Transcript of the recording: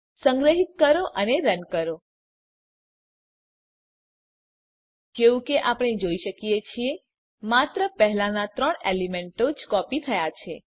સંગ્રહીત કરો અને રન કરો જેવું કે આપણે જોઈ શકીએ છીએ માત્ર પહેલાનાં ત્રણ એલીમેન્તો જ કોપી થયા છે